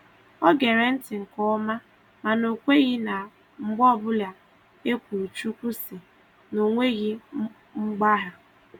O gere ntị nke ọma mana o kweghị na mgbe ọbụla e kwuru "Chukwu sị" na o nweghị mgbagha.